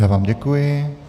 Já vám děkuji.